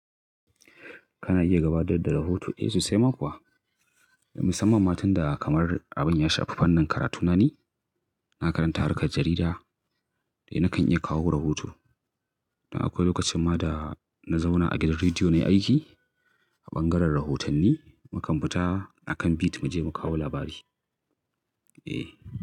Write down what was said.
Kana iya gabatar da rahoto? Eh, sosai ma kuwa. Musamman matan da kamar abin ya shafi fannin karatuna ne. Na karanta harkar jarida dai na kan iya kawo rahoto. Da akwai lokacin ma da na zauna a gidan rediyo na yi aiki a ɓangaren rahotanni. Mu kan fita a kan beat mu je mu kawo labari. Eh.